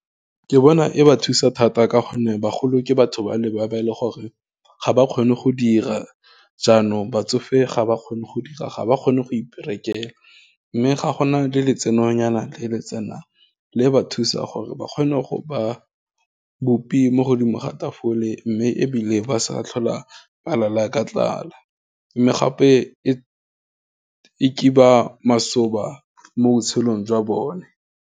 Ke bona e ba thusa thata ka gonne, bagolo ke batho ba le, ba ba e leng gore, ga ba kgone go dira, jaanong batsofe ga ba kgone go dira, ga ba kgone go iperekela, mme ga gona le le tsenonyana le le tsenang, le ba thusa gore ba kgone go ba bupi mo godimo ga tafole, mme ebile ba sa tlhola ba lala ka tlala, mme gape e kiba masoba mo botshelong jwa bone.